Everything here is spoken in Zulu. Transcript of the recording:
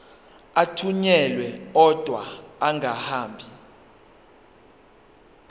athunyelwa odwa angahambi